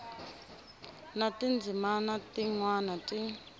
na tindzimana tin wana ti